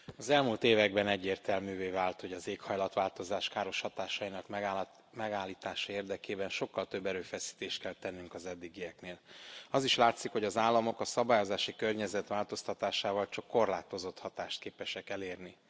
Tisztelt Elnök Asszony! Az elmúlt években egyértelművé vált, hogy az éghajlatváltozás káros hatásainak megállítása érdekében sokkal több erőfeszítést kell tennünk az eddigieknél. Az is látszik, hogy az államok a szabályozási környezet változtatásával csak korlátozott hatást képesek elérni.